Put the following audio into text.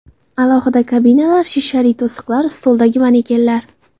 Alohida kabinalar, shishali to‘siqlar, stoldagi manekenlar.